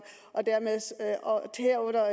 og herunder